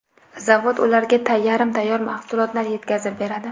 Zavod ularga yarim tayyor mahsulotlar yetkazib beradi.